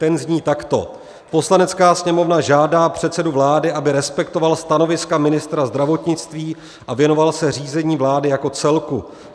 Ten zní takto: "Poslanecká sněmovna žádá předsedu vlády, aby respektoval stanoviska ministra zdravotnictví a věnoval se řízení vlády jako celku.